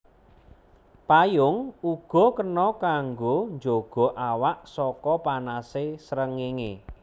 Payung uga kena kanggo njaga awak saka panasé srengéngé